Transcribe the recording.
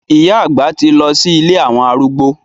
Ìyá àgbà ti lọ sí ilé àwọn arúgbó.